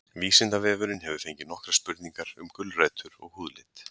Vísindavefurinn hefur fengið nokkrar spurningar um gulrætur og húðlit.